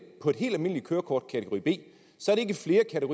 på et helt almindeligt kørekort til kategori b så